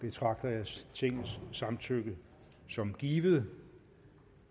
betragter jeg tingets samtykke som givet